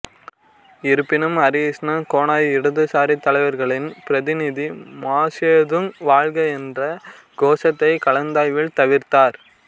இருப்பினும் ஹரிகிருஷ்ண கோனார் இடதுசாரி தலைவர்களின் பிரதிநிதி மாசேதுங் வாழ்க என்ற கோஷத்தை கலந்தாய்வில் தவிர்த்தார்